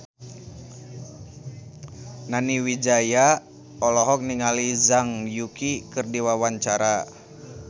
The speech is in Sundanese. Nani Wijaya olohok ningali Zhang Yuqi keur diwawancara